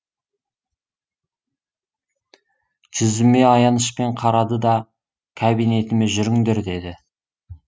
жүзіме аянышпен қарады да кабинетіме жүріңдер деді